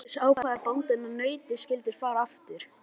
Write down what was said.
Til öryggis ákvað bóndinn að nautið skyldi fara aftur.